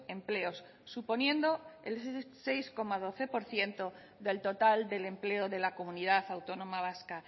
empleos suponiendo el seis coma doce por ciento del total del empleo de la comunidad autónoma vasca